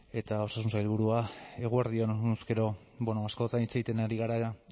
eta osasun sailburua eguerdi on honezkero askotan hitz egiten ari gara